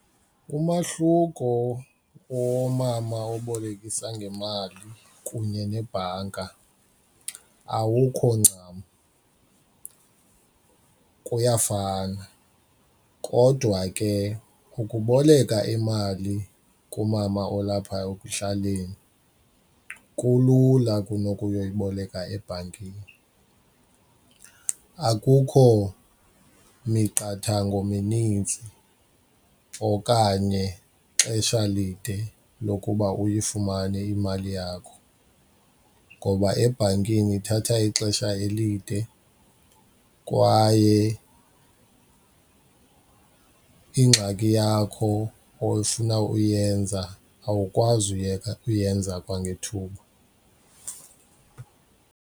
Umahluko womama obolekisa ngemali kunye nebhanka awukho ncam, kuyafana. Kodwa ke ukuboleka imali kumama olapha ekuhlaleni kulula kunokuyoyiboleka ebhankini, akukho miqathango minintsi okanye xesha elide lokuba uyifumane imali yakho ngoba ebhankini ithatha ixesha elide kwaye ingxaki yakho ofuna uyenza awukwazi uyeka uyenza kwangethuba.